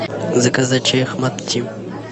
заказать чай ахмад ти